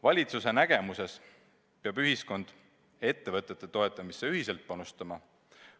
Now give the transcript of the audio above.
Valitsuse nägemuse kohaselt peab ühiskond ettevõtete toetamisse ühiselt panustama.